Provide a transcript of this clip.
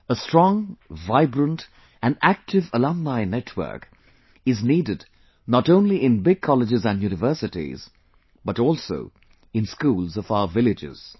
A strong vibrant & active alumni network is needed not only in big Colleges and Universities but also in schools of our villages